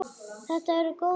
Þetta eru góðir dagar.